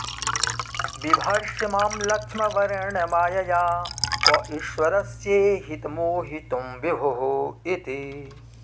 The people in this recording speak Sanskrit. बिभर्षि मां लक्ष्म वरेण्य मायया क ईश्वरस्येहितमूहितुं विभुरिति